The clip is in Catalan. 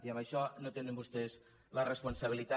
i en això no tenen vostès la responsabilitat